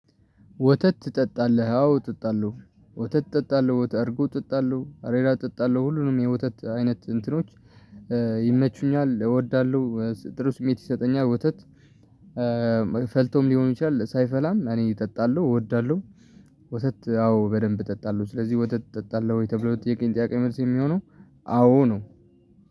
ወተት ትጠጣለህ አዎ እጠጣለሁ ወተት እጠጣለሁ እርጎ እጠጣለሁ አሬራ እጠጣለሁ ሁሉንም የወተት አይነት እንትኖች ይመቹኛል እወዳለሁ ጥሩ ስሜት ይሰጠኛል። ወተት ፈልቶም ሊሆን ይችላል ሳይፈላም እኔ እጠጣለሁ እወዳለሁ። ወተት አዎ በደንብ እጠጣለሁ ስለዚህ ወተት እጠጣለሁ ወይ ተብሎ የተጠየቀኝ ጥያቄ መልስ የሚሆነው አዎ ነው